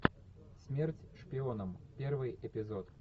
смерть шпионам первый эпизод